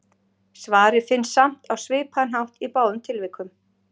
Svarið finnst samt á svipaðan hátt í báðum tilvikum.